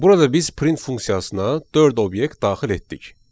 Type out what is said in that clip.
Burada biz print funksiyasına dörd obyekt daxil etdik.